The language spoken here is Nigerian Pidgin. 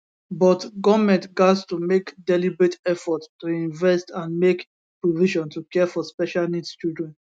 but goment gatz to make deliberate effort to invest and make provision to care for special needs children